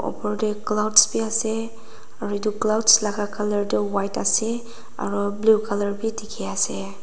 upar teh clouds bhi ase aru etu clouds laga colour tu white ase aru blue colour bhi dikhi ase.